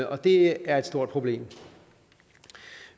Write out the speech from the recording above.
og det er et stort problem